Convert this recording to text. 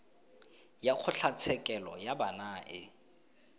ya kgotlatshekelo ya bana e